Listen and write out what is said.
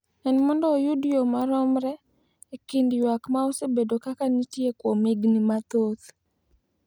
en mondo oyud yo maromre e kind ywak ma osebedo ka nitie kuom higni mathoth,